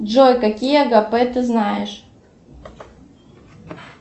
джой какие агапе ты знаешь